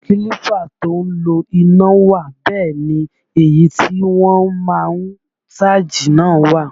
Kílípà tó ń lo iná wà bẹ́ẹ̀ ni èyí tí wọ́n má ń sáàjì náà wà